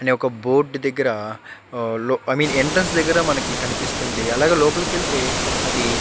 అనే ఒక బోర్డు దెగ్గర ఐ మీన్ యెంట్ట్రాన్సు దగ్గర కనిపిస్తుంది అలాగే లోపలికి వెళ్తే అది --